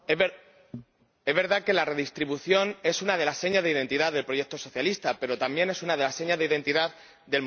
Es verdad que la redistribución es una de las señas de identidad del proyecto socialista, pero también es una de las señas de identidad del modelo social.